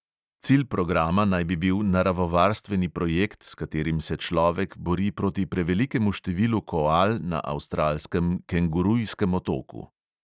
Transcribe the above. Cilj programa naj bi bil naravovarstveni projekt, s katerim se človek bori proti prevelikemu številu koal na avstralskem kengurujskem otoku.